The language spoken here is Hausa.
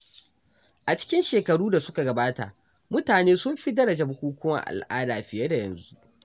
A cikin shekaru da suka gabata, mutane sun fi daraja bukukkuwan al’ada fiye da yanzu.